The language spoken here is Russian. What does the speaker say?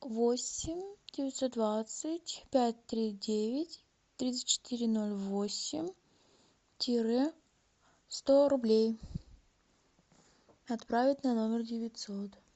восемь девятьсот двадцать пять три девять тридцать четыре ноль восемь тире сто рублей отправить на номер девятьсот